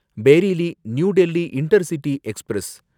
Bareilly New Delhi intercity express